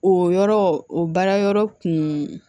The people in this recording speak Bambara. O yɔrɔ o baara yɔrɔ kun